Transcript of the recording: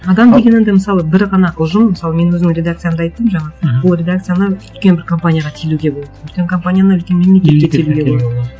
адам деген енді мысалы бір ғана ұжым мысалы мен өзім редакциямды айттым жаңа ол редакцияны үлкен бір компанияға телуге болады үлкен компанияны үлкен мемлекетке телуге болады